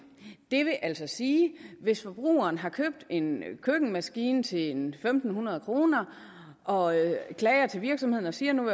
det vil altså sige at hvis forbrugeren har købt en køkkenmaskine til en fem hundrede kroner og klager til virksomheden og siger at nu